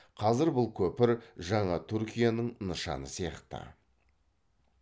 қазір бұл көпір жаңа түркияның нышаны сияқты